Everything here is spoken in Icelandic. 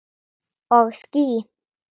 Og ský.